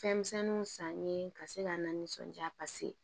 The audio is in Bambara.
Fɛnmisɛnninw sanni ye ka se ka na nisɔndiya paseke